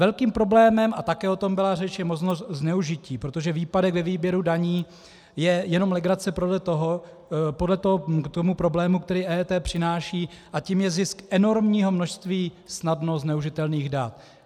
Velkým problémem, a také o tom byla řeč, je možnost zneužití, protože výpadek ve výběru dění je jenom legrace podle toho k tomu problému, který EET přináší, a tím je zisk enormního množství snadno zneužitelných dat.